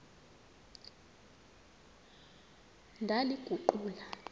ndaliguqula